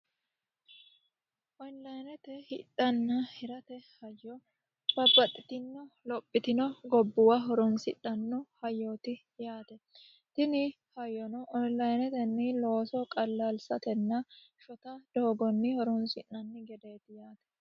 Onlinete hidhanna hiramate hajjo babbaxitino lophitino gobbuwa horonsidhano hayyoti yaate tini hayyono onlinetenni loosso qalalsatenna shotta doogonni horonsi'nanni gedeti.